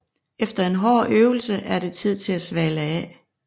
Efter en hård øvelse er det tid til at svale af